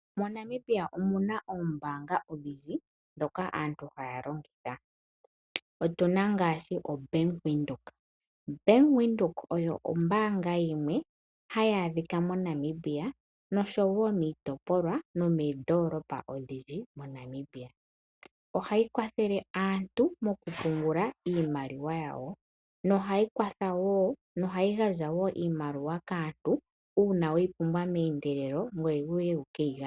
MoNamibia omuna oombaanga odhindji ndhoka aantu haya longitha. Otuna ngaashi oBank Windhoek. Bank Windhoek oyo ombaanga yimwe hayi adhika moNamibia noshowo miitopolwa nomoondoolopa odhindji moNamibia. Ohayi kwathele aantu mo ku pungula iimaliwa yawo nohayi gandja wo iimaliwa kaantu uuna weyi pumbwa meendelelo ngoye wuye wu ke yi gandje.